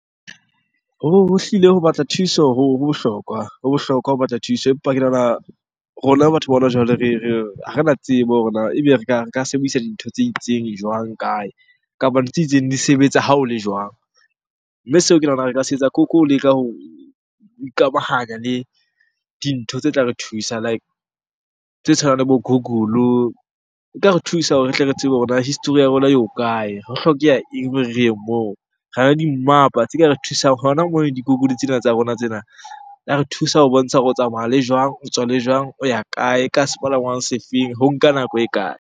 Ho hlile ho batla thuso ho bohlokwa, ho bohlokwa ho batla thuso. Empa ke nahana rona batho ba hona jwale re ha rena tsebo hore na ebe re ka sebedisa dintho tse itseng jwang? Kae? Kapa ntho tse itseng di sebetsa ha o le jwang? Mme seo ke nahana re ka se etsa ke ho leka ho ikamahanya le dintho tse tla re thusa like tse tshwanang le bo Google. E ka re thusa hore re tle re tsebe hore na history ya rona e ho kae? Ho hlokeha eng hore re ye moo? Re na le dimmapa tse ka re thusang hona mono Google tsena tsa rona tsena. Re thusa ho bontsha hore o tsamaya le jwang? O tswa le jwang? O ya kae? Ka sepalangwang se feng? Ho nka nako e kae?